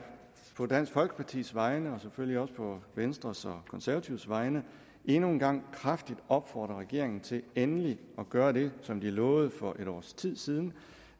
på dansk folkepartis vegne og selvfølgelig også på venstres og konservatives vegne endnu en gang kraftigt opfordre regeringen til endelig at gøre det som den lovede for et års tid siden